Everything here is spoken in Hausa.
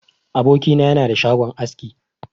Aboki na yana da shagon aski.